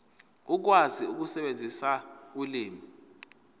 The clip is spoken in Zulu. ukwazi ukusebenzisa ulimi